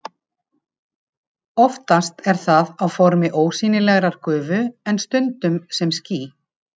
Oftast er það á formi ósýnilegrar gufu en stundum sem ský.